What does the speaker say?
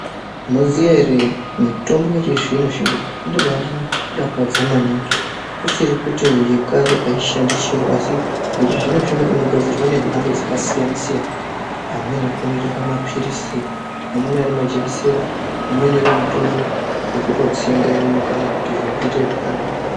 Munoziya ere mitombo yechizvino zvino inombandidakadza maningi kusiri kuti yekare aishandi chiro asi yechizvino zvino inogadzirwa nemhando dzakasiyana siyana. Amweni anokona kutsvama mapirizi, amweni ari majekisera, amweni utori mutombo wekutotsenga mukanwa kuti zviro zviite zvakanaka.